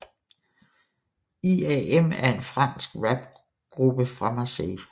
IAM er en fransk rapgruppe fra Marseille